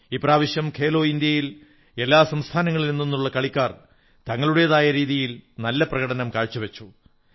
ഇപ്രാവശ്യം ഖേലോ ഇന്ത്യ യിൽ എല്ലാ സംസ്ഥാനങ്ങളിലും നിന്നുള്ള കളിക്കാർ തങ്ങളുടേതായ രീതിയിൽ നല്ല പ്രകടനം കാഴ്ചവച്ചു